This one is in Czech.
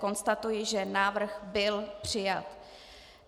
Konstatuji, že návrh byl přijat.